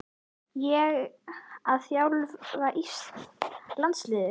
Ég að þjálfa landslið?